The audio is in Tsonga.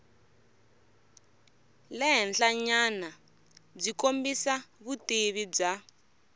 le henhlanyanabyi kombisa vutivi bya